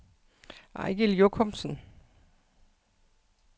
Eigil Jochumsen